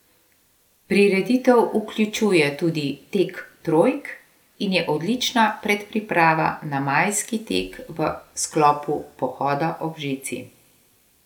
Prireditev vključuje tudi tek trojk in je odlična predpriprava na majski tek v sklopu Pohoda ob žici.